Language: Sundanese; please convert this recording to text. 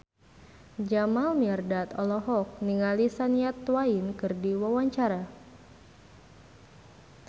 Jamal Mirdad olohok ningali Shania Twain keur diwawancara